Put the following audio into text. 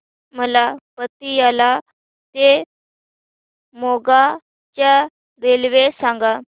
मला पतियाळा ते मोगा च्या रेल्वे सांगा